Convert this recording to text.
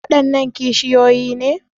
Waɗannan kishiyoyi ne?